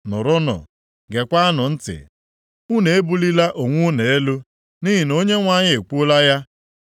Nụrụnụ, geekwanụ ntị, unu ebulila onwe unu elu, nʼihi na Onyenwe anyị ekwuola ya.